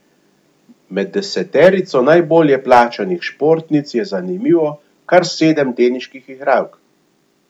Med deseterico najbolje plačanih športnic je zanimivo kar sedem teniških igralk.